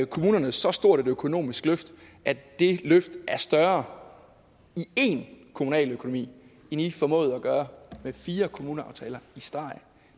kommunerne så stort et økonomisk løft at det løft er større i én kommunaløkonomi end i formåede at gøre med fire kommuneaftaler